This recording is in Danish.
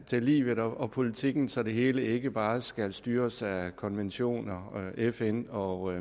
til livet og politikken så det hele ikke bare skal styres af konventioner og fn og